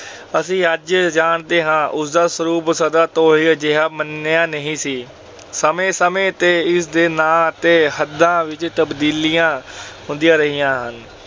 ਅਸੀਂ ਅੱਜ ਜਾਣਦੇ ਹਾਂ। ਉਸਦਾ ਸਰੂਪ ਸਦੀਆਂ ਤੋਂ ਅਜਿਹਾ ਨਹੀਂ ਸੀ ਮੰਨਿਆ ਜਾਂਦਾ। ਸਮੇਂ ਸਮੇੇਂ ਤੇ ਇਸਦੇ ਨਾਂ ਅਤੇ ਹੱਦਾਂ ਵਿੱਚ ਤਬਦੀਲੀਆਂ ਹੁੰਦੀਆਂ ਰਹੀਆਂ।